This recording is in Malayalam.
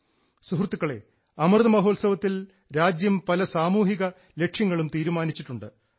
സുഹൃത്തുക്കളെ അമൃതമഹോത്സവത്തിൽ രാജ്യം പല സാമൂഹിക ലക്ഷ്യങ്ങളും തീരുമാനിച്ചിട്ടുണ്ട്